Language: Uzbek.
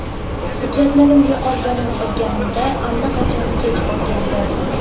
Hujjatlarim yo‘qolganini bilganimda allaqachon kech bo‘lgandi.